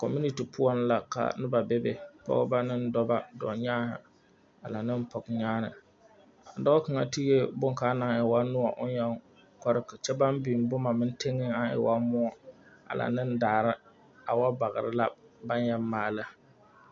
Community poɔ la ka noba bebe Pɔgeba ane dɔba dɔɔnyaane a lŋa ne pɔgenyaane dɔɔ kaŋa tegi boŋkaŋa a woo noɔ o yeŋ Kore kyɛ naŋ biŋ boma meŋ teŋa kaŋ e woo moɔ a laŋ ne daara a woo bagere la n baŋ yeli maae